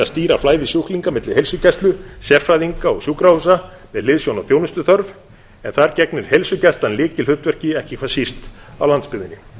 stýra flæði sjúklinga milli heilsugæslu sérfræðinga og sjúkrahúsa með hliðsjón af þjónustuþörf en þar gegnir heilsugæslan lykilhlutverki ekki hvað síst á landsbyggðinni